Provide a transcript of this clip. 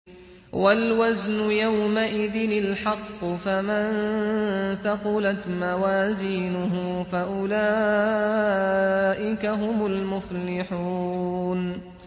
وَالْوَزْنُ يَوْمَئِذٍ الْحَقُّ ۚ فَمَن ثَقُلَتْ مَوَازِينُهُ فَأُولَٰئِكَ هُمُ الْمُفْلِحُونَ